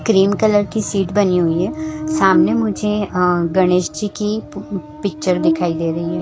Cream colour की seat बनी हुई है सामने मुझे गणेश जी की पिक्चर दिखाई दे रही है।